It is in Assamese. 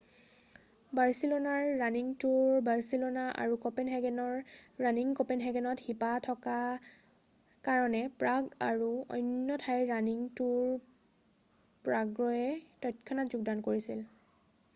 বাৰছিলোনাৰ ৰানিং তুৰ বাৰছিলোনা আৰু কঁপেনহেগেনৰ ৰানিং কঁপেনহেগেনত শিপা থকা কাৰণে প্ৰাগ আৰু অন্য ঠাইৰ ৰানিং তুৰ প্ৰাগয়ে তৎক্ষণাত যোগদান কৰিছিল